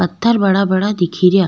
पत्थर बड़ा बड़ा दिखे रिया।